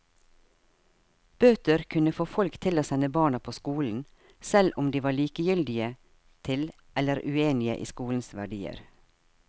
Bøter kunne få folk til å sende barna på skolen, selv om de var likegyldige til eller uenige i skolens verdier.